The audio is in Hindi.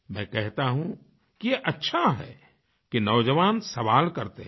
मैं कहता हूँ कि अच्छा है कि नौजवान सवाल करते हैं